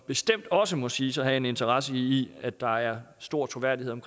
bestemt også må siges at have en interesse i at der er stor troværdighed om